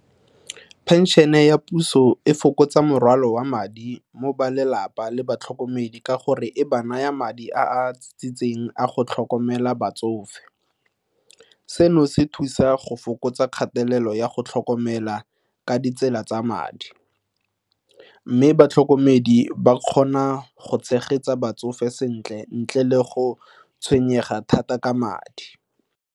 Pension-e ya puso e fokotsa morwalo wa madi mo balelapa le batlhokomedi ka gore e ba naya madi a a a go tlhokomela batsofe. Seno se thusa go fokotsa kgatelelo ya go tlhokomela ka ditsela tsa madi mme batlhokomedi ba kgona go tshegetsa batsofe sentle ntle le go tshwenyega thata ka madi.